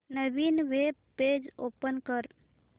नवीन web page open कर